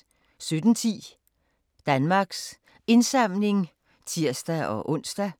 17:10: Danmarks Indsamling (tir-ons)